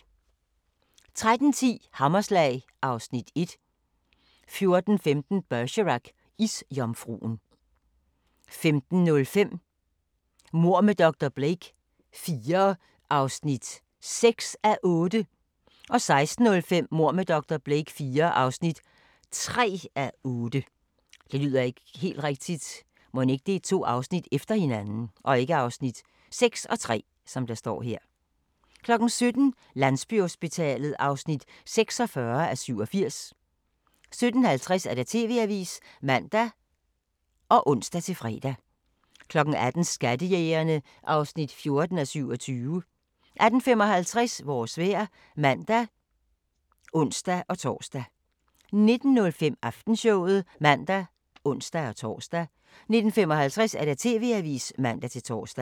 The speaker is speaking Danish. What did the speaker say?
13:10: Hammerslag (Afs. 1) 14:15: Bergerac: Isjomfruen 15:05: Mord med dr. Blake IV (6:8) 16:05: Mord med dr. Blake IV (3:8) 17:00: Landsbyhospitalet (46:87) 17:50: TV-avisen (man og ons-fre) 18:00: Skattejægerne (14:27) 18:55: Vores vejr (man og ons-tor) 19:05: Aftenshowet (man og ons-tor) 19:55: TV-avisen (man-tor)